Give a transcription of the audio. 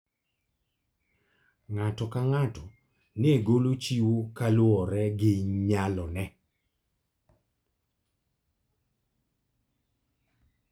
Ng'ato ka ng'ato ne golo chiwo kaluwore gi nyalone.